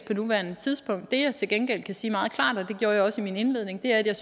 på nuværende tidspunkt det jeg til gengæld kan sige meget klart og det gjorde jeg også i min indledning er at jeg